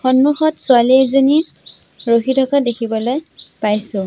সন্মুখত ছোৱালী এজনী ৰখি থকা দেখিবলৈ পাইছোঁ।